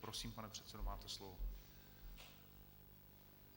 Prosím, pane předsedo, máte slovo.